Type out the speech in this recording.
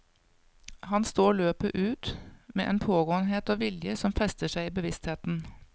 Han står løpet ut med en pågåenhet og vilje som fester seg i bevisstheten.